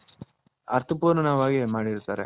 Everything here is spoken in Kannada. ಅರ್ಥ ಪೂರ್ಣನವಾಗಿ ಮಾಡಿರ್ತಾರೆ.